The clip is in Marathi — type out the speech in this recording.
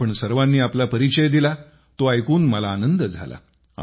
आपण सर्वांनी आपला परिचय दिला तो ऐकून मला आनंद झाला